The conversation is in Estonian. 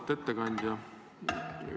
Auväärt ettekandja!